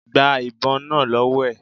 Gba ìbon náà lọ́wọ́ ẹ̀.